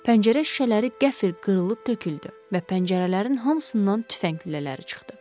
Pəncərə şüşələri qəflət qırılıb töküldü və pəncərələrin hamısından tüfəng güllələri çıxdı.